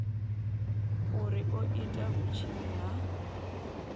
uri o ita vhutshinyi ha